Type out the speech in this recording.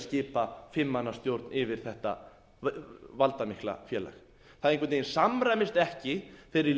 skipa fimm manna stjórn yfir þetta valdamikla félag það einhvern veginn samræmist ekki þeirri